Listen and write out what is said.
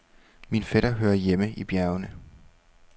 Min fætter hører hjemme i bjergene.